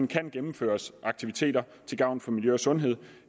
kan gennemføres aktiviteter til gavn for miljø og sundhed